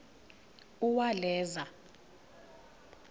uwaleza